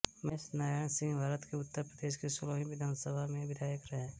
महेश नारायण सिंहभारत के उत्तर प्रदेश की सोलहवीं विधानसभा सभा में विधायक रहे